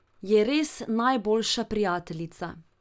Je res najboljša prijateljica.